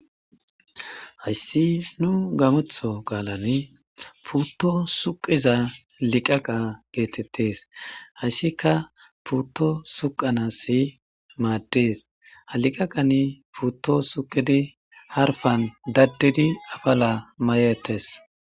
Haysi nu gamoththo qalini puto suqida liqaqa getetes, haysika puto suqanaw mades ha liqaqan suqidi harpan dadidi mayetes